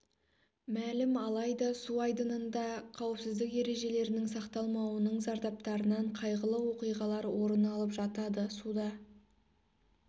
мәлім алайда су айдынында қауіпсіздік ережелерінің сақталмауының зардаптарынан қайғылы оқиғалар орын алып жатады суда